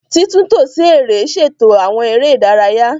Titunto si ere ṣeto awọn ere idaraya